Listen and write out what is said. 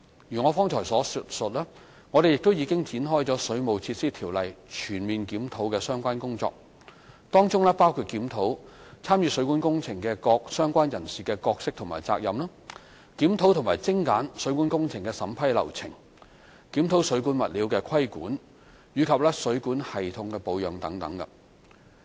如我剛才所述，我們亦已展開《水務設施條例》全面檢討的相關工作，當中包括檢討參與水管工程的各相關人士的角色和責任，檢討及精簡水管工程的審批流程，檢討水管物料的規管及水管系統的保養等。